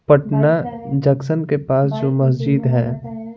Patna junction के पास जो मस्जिद हैं।